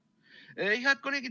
Head kolleegid!